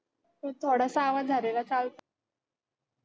ते थोडंसं आवाज झालेला चालतो.